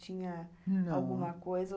Tinha... não, alguma coisa?